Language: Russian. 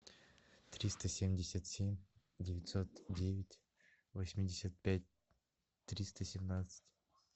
триста семьдесят семь девятьсот девять восемьдесят пять триста семнадцать